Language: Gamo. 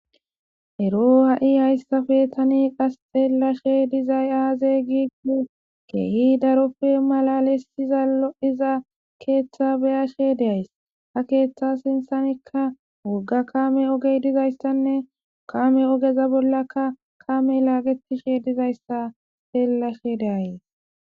ero ha7i hayssafe tani qas xeellashe dizay aazey giu keehi daroppe malalesiza lo7iza keeththa beyashe deays ha keeththa sinthanikka wogga kame ogey dizaystanne kame ogeza bollakka kame laaqetishe dizayssa seellashe deays